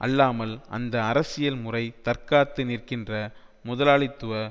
அல்லாமல் அந்த அரசியல் முறை தற்காத்து நிற்கின்ற முதலாளித்துவ